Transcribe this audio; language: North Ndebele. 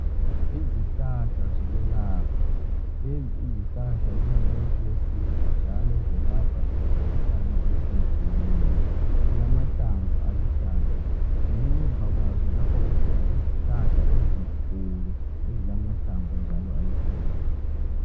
Izihlahla zokwelapha lezi izihlahla zingumuthi wesintu njalo zelapha imikhuhlane etshiye tshiyeneyo zilamahlamvu aluhlaza ngemuva kwazo lapho kukhona izihlahla ezinkulu ezilamahlamvu njalo aluhlaza.